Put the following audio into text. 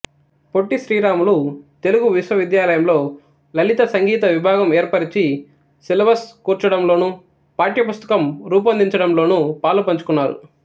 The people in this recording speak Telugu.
పొట్టిస్రీరాములు తెలుగు విశ్వవిద్యాలయంలో లలితసంగీత విభాగం ఏర్పరచి సిలబస్ కూర్చడంలో పాఠ్యపుస్తకం రూపొందించడంలోనూ పాలుపంచుకున్నారు